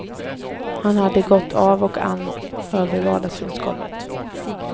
Han hade gått av och an över vardagsrumsgolvet.